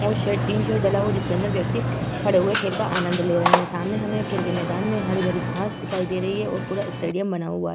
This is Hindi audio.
यहाँ पर शेल्टिंग सा डला हुआ है जिसके अंदर व्यक्ति खड़े हुए खेल का आनंद ले रहे है। सामने हमें खेल के मैदान में हरी-भरी घास दिखाई दे रही है और पूरा स्टेडियम बना हुआ है।